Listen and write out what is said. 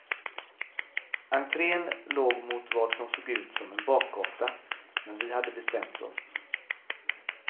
Entrén låg mot vad som såg ut som en bakgata, men vi hade bestämt oss.